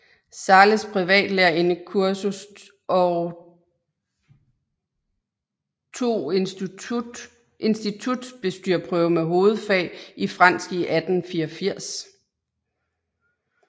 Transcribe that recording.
Zahles privatlærerindekursus og tog institutbestyrerprøve med hovedfag i fransk i 1884